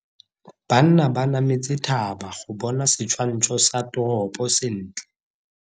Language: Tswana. Banna ba nametse thaba go bona setshwantsho sa toropo sentle.